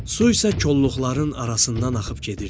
Su isə kolluqların arasından axıb gedirdi.